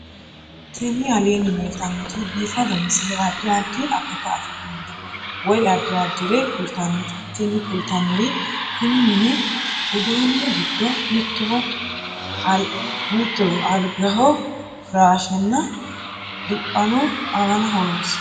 Tini aleenni leetannoti biifado misile adi addi akata afidhinote woy addi addire kultannote tini kultannori kuni mini uduunni giddo mittoho algaho firaashshenna diphano aanaho noosi